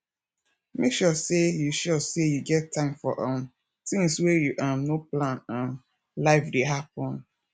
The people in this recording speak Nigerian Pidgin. make sure sey you sure sey you get time for um tins wey you um no plan um life dey happen